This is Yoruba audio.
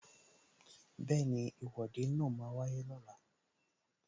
Bẹẹni, Ìwọ́de máa wáyé lọ́la